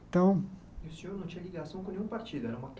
Então... E o senhor não tinha ligação com nenhum partido? Era uma